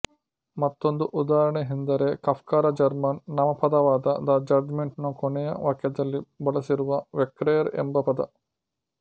ಮತ್ತೊಂದು ಉದಾಹರಣೆಯೆಂದರೆ ಕಾಫ್ಕರ ಜರ್ಮನ್ ನಾಮಪದವಾದ ದ ಜಡ್ಜ್ ಮೆಂಟ್ ನ ಕೊನೆಯ ವಾಕ್ಯದಲ್ಲಿ ಬಳಸಿರುವ ವೆರ್ಕೆಹ್ರ್ ಎಂಬ ಪದ